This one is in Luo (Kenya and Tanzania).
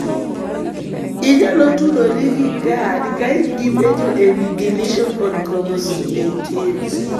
Inyalo tudori gi GARD ka in gi penjo ewi deletion on chromosome 18.